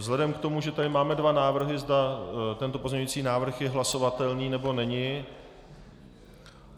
Vzhledem k tomu, že tady máme dva návrhy, zda tento pozměňující návrh je hlasovatelný, nebo není...